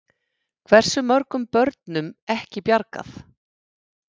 Hversu mörgum börnum ekki bjargað?